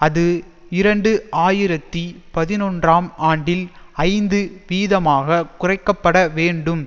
அது இரண்டு ஆயிரத்தி பதினொன்றாம் ஆண்டில் ஐந்து வீதமாக குறைக்க பட வேண்டும்